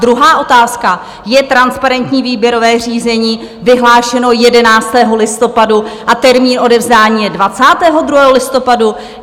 Druhá otázka: je transparentní výběrové řízení vyhlášené 11. listopadu a termín odevzdání je 22. listopadu?